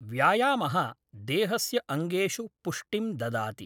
व्यायामः देहस्य अङ्गेषु पुष्टिं ददाति